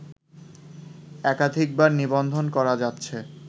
একাধিকবার নিবন্ধন করা যাচ্ছে